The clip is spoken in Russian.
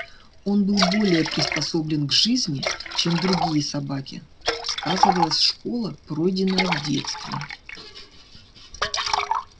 он был более приспособлен к жизни чем другие собаки сказывалась школа пройденная в детстве